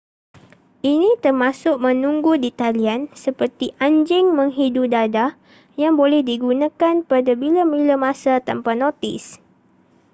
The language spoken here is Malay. ini termasuk menunggu di talian seperti anjing menghidu dadah yang boleh digunakan pada bila-bila masa tanpa notis